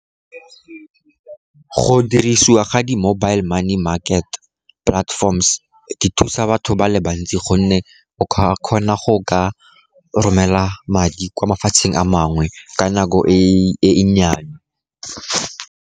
Go dirisiwa ga di-mobile money market platforms go thusa batho ba le bantsi, gonne o kgona go romela madi kwa mafatsheng a mangwe ka nako e nnyane.